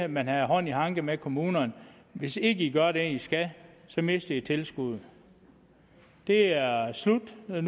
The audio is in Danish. man havde hånd i hanke med kommunerne hvis ikke i gør det i skal så mister i tilskuddet det er slut nu